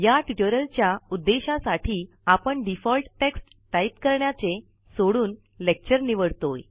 या ट्युटोरिअलच्या उद्देशासाठी आपण डिफॉल्ट टेक्स्ट टाईप करण्याचे सोडून लेक्चर निवाडतो